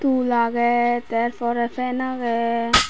tul aagay tar porey fan aagay